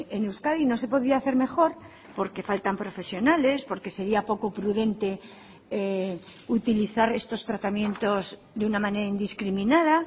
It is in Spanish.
en euskadi no se podía hacer mejor porque faltan profesionales porque sería poco prudente utilizar estos tratamientos de una manera indiscriminada